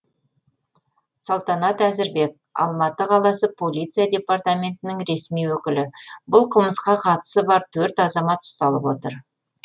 салтанат әзірбек алматы қаласы полиция департаментінің ресми өкілі бұл қылмысқа қатысы бар төрт азамат ұсталып отыр